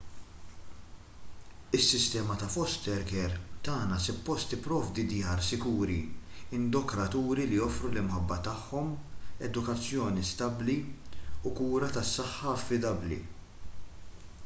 is-sistema ta' foster care tagħna suppost tipprovdi djar sikuri indokraturi li joffru l-imħabba tagħhom edukazzjoni stabbli u kura tas-saħħa affidabbli